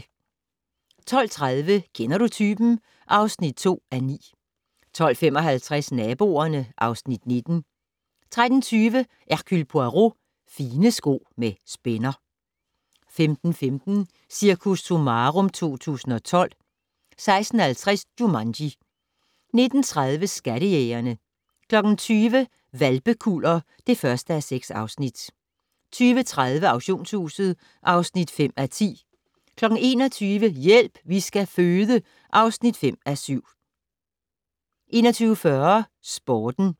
12:30: Kender du typen? (2:9) 12:55: Naboerne (Afs. 19) 13:20: Hercule Poirot: Fine sko med spænder 15:15: Cirkus Summarum 2012 16:50: Jumanji 19:30: Skattejægerne 20:00: Hvalpekuller (1:6) 20:30: Auktionshuset (5:10) 21:00: Hjælp, vi skal føde (5:7) 21:40: Sporten